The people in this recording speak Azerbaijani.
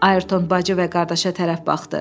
Ayrton bacı və qardaşa tərəf baxdı.